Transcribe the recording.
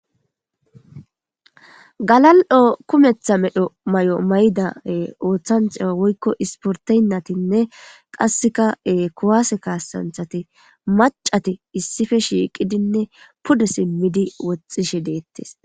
Galal7o kumetha medho may7o maydae ooththanch woykko isporteynatinne qasseka e kowaase kaassanthati macati issife shiiqidinne pude simmidi woxxishe deettes.